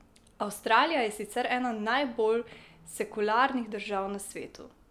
Avstralija je sicer ena najbolj sekularnih držav na svetu.